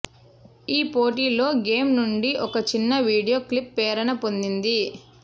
ఈ పోటిలో గేమ్ నుండి ఒక చిన్న వీడియో క్లిప్ ప్రేరణ పొందింది